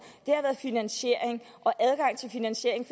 er finansiering og adgang til finansiering